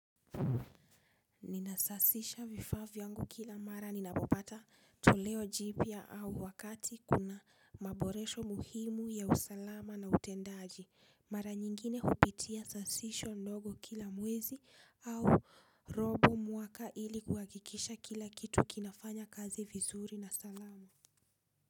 Ninasasisha vifaa vyangu kila mara ninapopata toleo jipya au wakati kuna maboresho muhimu ya usalama na utendaji. Mara nyingine hupitia sasisho ndogo kila mwezi au robo mwaka ili kuhakikisha kila kitu kinafanya kazi vizuri na salama.